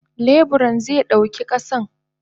Leburan ze dauki kasan.